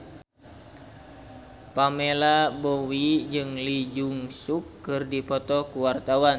Pamela Bowie jeung Lee Jeong Suk keur dipoto ku wartawan